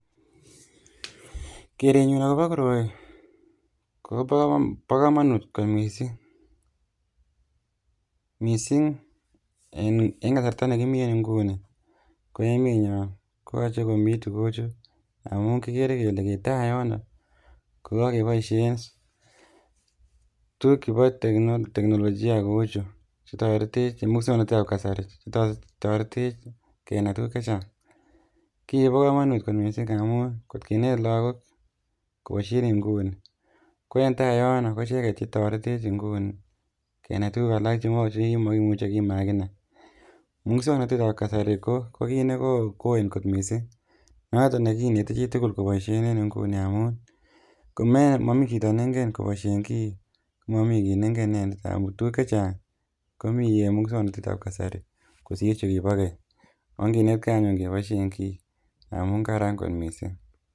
Kerenyun akopo koroi ko po komonut kot mising mising eng kasarta nekimi en nguni ko emenyo koyoche komi tukuchu amu kikere kele eng tai yon ko kakeboishen tuguk chepo teknolojia kouchu chetoretech eng musoknotetap kasari, chetoretech kenai tuguk chechang. Kii kopo komonut kot mising amun nkot kinet lagok kopoishen eng nguni ko eng tai yon ko icheket chetoretech nguni kenai tuguk alak chekimaimuchi kimakinai. Musoknotet nepo kasari ko ko kit ne kot mising noto nekineti chitukul kopoishe eng nguni amu komomi chito neingen kopoishen kii ko momii kit neinken inendet amu tuguk chechang komi eng musoknotetap kasari kosir chekipo keny. Onginetkei anyun kepoishe kii amu kararan kot mising.